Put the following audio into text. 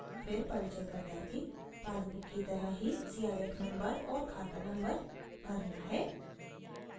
फिर परिचयकर्ता की पासबुक की तरह ही cif नम्बर और खाता नम्बर भरना है